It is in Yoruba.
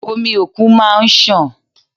Omi òkun máa ń sàn.